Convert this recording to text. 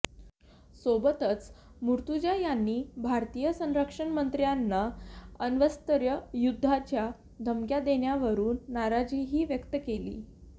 सोबतच मूर्तजा यांनी भारतीय संरक्षणमंत्र्यांनी अण्वस्त्रयुद्धाच्या धमक्या देण्यावरून नाराजीही व्यक्त केली